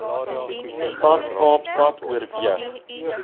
stad kaapstad oorweeg